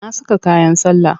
Na saka kayan sallah.